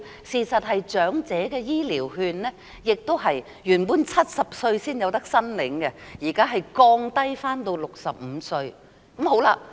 事實上，長者醫療券原本亦是70歲才可申領，現時已降至65歲。